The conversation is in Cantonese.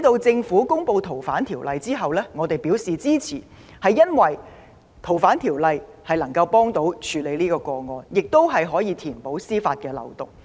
政府公布《條例草案》後，我們表示支持，皆因相關修訂有助處理台灣殺人案，亦可填補司法漏洞。